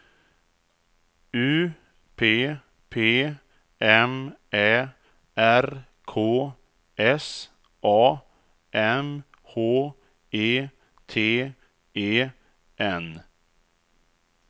U P P M Ä R K S A M H E T E N